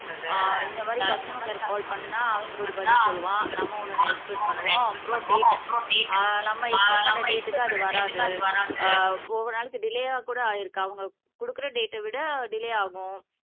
ஆஹ் இந்த மாதிரி கஸ்டமர் கேர்க்கு கால் பண்ணா அவங்க ஒரு பதில் சொல்லுவான் நம்ம ஒண்ணூ எக்ஸ்பெக்ட் பண்ணுவோம் அப்புறம் டேட் ஆஹ் நம்ம எக்ஸ்பெக்ட் பண்ற டேட்க்கு அது வராது ஆஹ் ஒவ்வொரு நாளைக்கு டிலேயா கூட ஆயிருக்கு அவங்க குடுக்குற டேட்ட விட டிலே ஆகும்